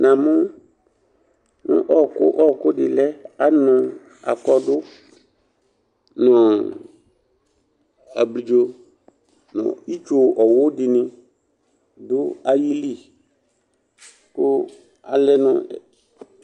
Na mʋ ɔƙʋ ɖɩ lɛ, anʋ aƙɔɖʋ nʋ abliɖzo ,nʋ itsu ɔwʋ ɖɩnɩ ɖʋ aƴili kʋ alɛ nʋ